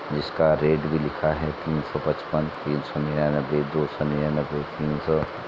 जिसका रेट भी लिखा है तीन सौ पचपन तीन सो निन्यानवे दो सौ निन्यान्वे तीन सौ --